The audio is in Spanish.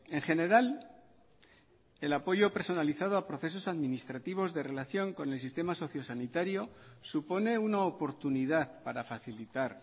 en general el apoyo personalizado a procesos administrativos de relación con el sistema socio sanitario supone una oportunidad para facilitar